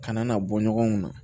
Kana na bɔ ɲɔgɔn na